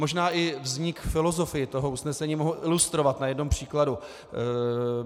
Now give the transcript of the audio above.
Možná i vznik filozofie toho usnesení mohu ilustrovat na jednom příkladu.